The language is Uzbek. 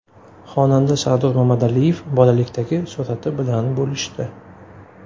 Xonanda Sardor Mamadaliyev bolalikdagi surati bilan bo‘lishdi.